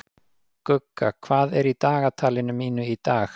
Gugga, hvað er í dagatalinu mínu í dag?